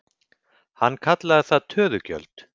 Hann kallaði það töðugjöld.